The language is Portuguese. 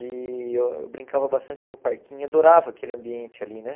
E eu brincava bastante no parquinho, adorava aquele ambiente ali, né?